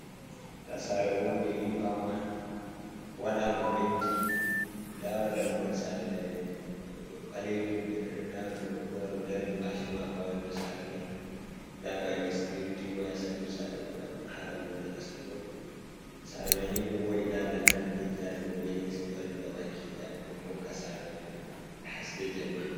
Nda sare wonde, nyiɓama, waɗama penti, nda dammugal sare mai ɓalajum, ɓe ɗon nda oɗo bo o wari odarni mashi mako ha yonda sare mai, nda ɓe waɗi security waya ha ɗou sare mai ngam haɗa wuyɓɓe nastugo. Sare mai ni ɗo voɗi nda lantarkiji ha dau be les be waɗi gabaki daya ngam hoka sare mai haske jenma.